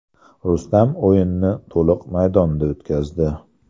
Rustam o‘yinni to‘liq maydonda o‘tkazdi.